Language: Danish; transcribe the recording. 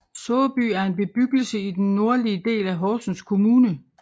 Såby er en bebyggelse i den nordlige del af Horsens Kommune